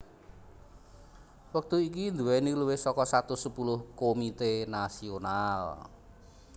wektu iki nduwèni luwih saka satus sepuluh Komité Nasional